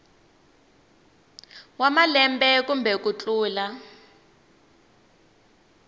wa malembe kumbe ku tlula